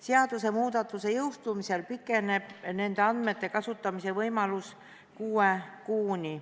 Seadusemuudatuse jõustumise korral pikeneb nende andmete kasutamise võimalus kuue kuuni.